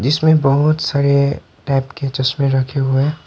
जिसमें बहोत सारे टाइप के चश्मे रखे हुए हैं।